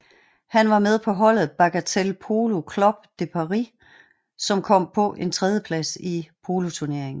Han var med på holdet Bagatelle Polo Club de Paris som kom på en tredjeplads i poloturneringen